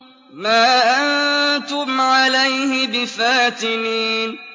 مَا أَنتُمْ عَلَيْهِ بِفَاتِنِينَ